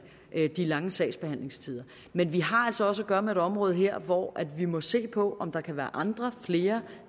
de lange sagsbehandlingstider men vi har altså også at gøre med et område her hvor vi må se på om der kan være andre flere